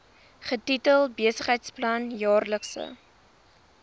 getitel besigheidsplan jaarlikse